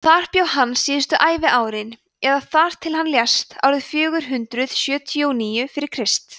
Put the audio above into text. þar bjó hann síðustu æviárin eða þar til hann lést árið fjögur hundruð sjötíu og níu fyrir krist